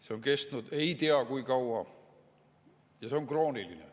See on kestnud ei tea kui kaua, see on krooniline.